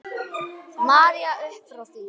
María uppfrá því.